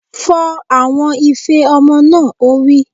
Fọ àwọn ife ọmọ náà! Ó wí.